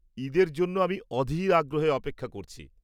ঈদের জন্য আমি অধীর আগ্রহে অপেক্ষা করছি।